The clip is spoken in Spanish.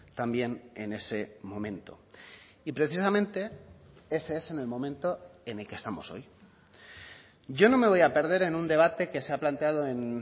también en ese momento y precisamente ese es en el momento en el que estamos hoy yo no me voy a perder en un debate que se ha planteado en